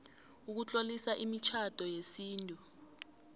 ukutloliswa kwemitjhado yesintu